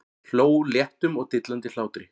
Hló léttum og dillandi hlátri.